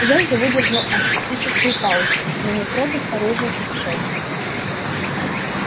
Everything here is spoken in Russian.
женька выдержал артистическую паузу на метро без оружия путешествует